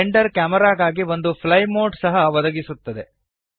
Blender ಕ್ಯಾಮೆರಾಗಾಗಿ ಒಂದು fly mode ಸಹ ಒದಗಿಸುತ್ತದೆ